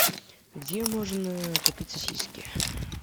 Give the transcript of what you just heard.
где можно купить сосиски